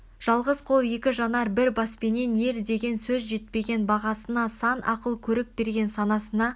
жалғыз қол екі жанар бір баспенен ер деген сөз жетпеген бағасына сан ақыл көрік берген санасына